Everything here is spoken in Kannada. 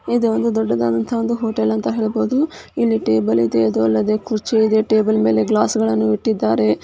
ಇದು ಒಂದು ದೊಡ್ಡದಾದಂತಹ ಒಂದು ಹೋಟೆಲ್ ಅಂತ ಹೇಳ್ಬಹುದು ಇಲ್ಲಿ ಟೇಬಲ್ ಇದೆ ಅದು ಅಲ್ಲದೆ ಕುರ್ಚಿ ಇದೆ. ಟೇಬಲ್ ಮೇಲೆ ಗ್ಲಾಸ್ ಗಳನ್ನು ಇಟ್ಟಿದ್ದಾರೆ.